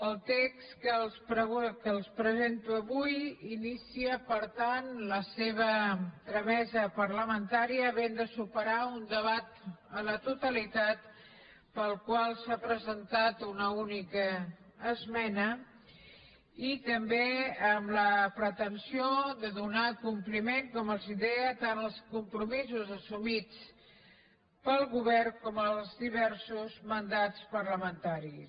el text que els presento avui inicia per tant la seva tramesa parlamentària havent de superar un debat a la totalitat pel qual s’ha presentat una única esmena i també amb la pretensió de donar compliment com els deia tant als compromisos assumits pel govern com als diversos mandats parlamentaris